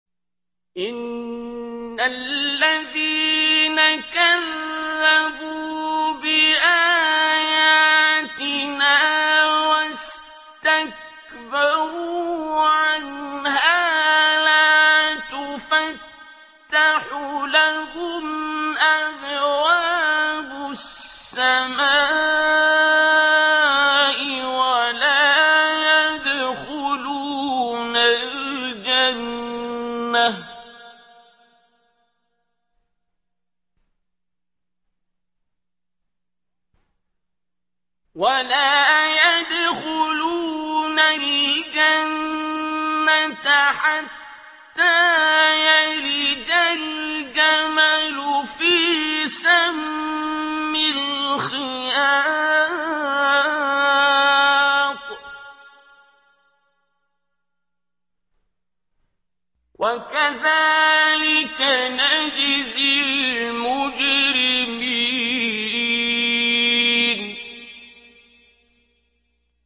إِنَّ الَّذِينَ كَذَّبُوا بِآيَاتِنَا وَاسْتَكْبَرُوا عَنْهَا لَا تُفَتَّحُ لَهُمْ أَبْوَابُ السَّمَاءِ وَلَا يَدْخُلُونَ الْجَنَّةَ حَتَّىٰ يَلِجَ الْجَمَلُ فِي سَمِّ الْخِيَاطِ ۚ وَكَذَٰلِكَ نَجْزِي الْمُجْرِمِينَ